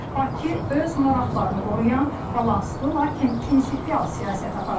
Bakı öz maraqlarını qoruyan, balanslı, lakin prinsipial siyasət aparır.